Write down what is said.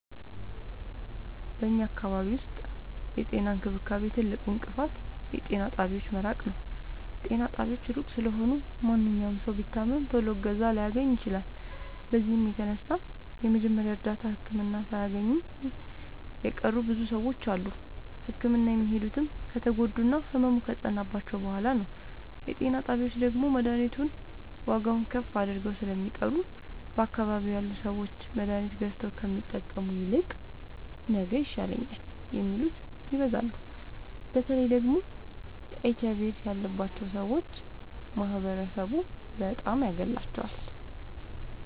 በኛ አካባቢ ዉስጥ የጤና እንክብካቤ ትልቁ እንቅፋት የጤና ጣቢያዎች መራቅ ነዉ። ጤና ጣቢያዎች እሩቅ ስለሆኑ ማንኛዉም ሠዉ ቢታመም ቶሎ እገዛ ላያገኝ ይችላል። በዚህም የተነሣ የመጀመሪያ እርዳታ ህክምና ሣያገኙ የቀሩ ብዙ ሰዎች አሉ። ህክምና የሚሄዱትም ከተጎዱና ህመሙ ከፀናባቸዉ በሗላ ነዉ። የጤና ጣቢያዎች ደግሞ መድሀኒቱን ዋጋዉን ከፍ አድርገዉ ስለሚጠሩ በአካባቢዉ ያሉ ሠዎች መድሀኒት ገዝተዉ ከሚጠቀሙ ይልቅ ነገ ይሻለኛል የሚሉት ይበዛሉ። በተለይ ደግሞ ኤች አይቪ ኤድስ ያባቸዉ ሠዎች ማህበረሡ በጣም ያገላቸዋል።